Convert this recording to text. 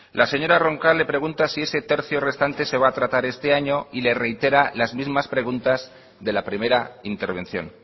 la señora roncal le pregunta si ese tercio restante se va a tratar este año y le reitera las mismas preguntas de la primera intervención